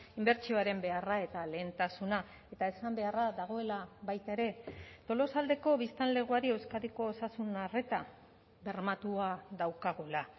inbertsioaren beharra eta lehentasuna eta esan beharra dagoela baita ere tolosaldeko biztanlegoari euskadiko osasun arreta bermatua daukagula